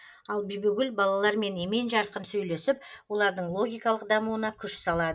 ал бибігүл балалармен емен жарқын сөйлесіп олардың логикалық дамуына күш салады